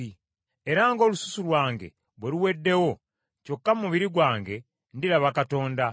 Era ng’olususu lwange bwe luweddewo, kyokka mu mubiri gwange ndiraba Katonda;